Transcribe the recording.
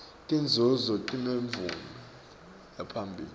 tinzunzo tinemvume yaphambilini